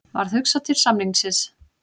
Varð hugsað til samningsins.